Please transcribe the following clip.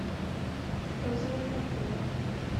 розовая пантера